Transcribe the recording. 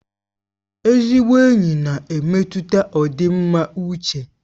Ezigbo enyi na-emetụta ọdịmma uche